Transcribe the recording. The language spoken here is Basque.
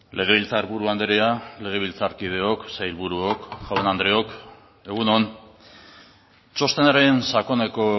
legebiltzarburu andrea legebiltzarkideok sailburuok jaun andreok egun on txostenaren sakoneko